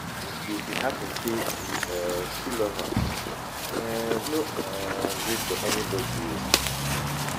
if e hapun sey yu um stil luv am, um no um gree for anybodi o